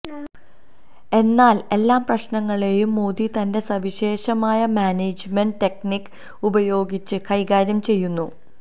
എന്നാൽ എല്ലാ പ്രശ്നങ്ങളെയും മോദി തന്റെ സവിശേഷമായ മാനേജ്മെന്റ് ടെക്നിക് ഉപയോഗിച്ചു കൈകാര്യം ചെയ്യുന്നു